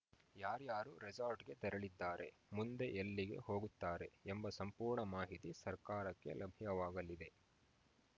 ಯಾರ್ಯಾರು ರೆಸಾರ್ಟ್‌ಗೆ ತೆರಳಿದ್ದಾರೆ ಮುಂದೆ ಎಲ್ಲಿಗೆ ಹೋಗುತ್ತಾರೆ ಎಂಬ ಸಂಪೂರ್ಣ ಮಾಹಿತಿ ಸರ್ಕಾರಕ್ಕೆ ಲಭ್ಯವಾಗಲಿದೆ